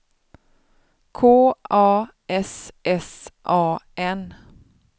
K A S S A N